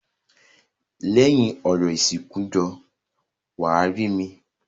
Lẹ́yìn orò ìsìnkú jọ̀ọ́ wá rí mi.